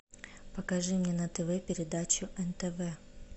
покажи мне на тв передачу нтв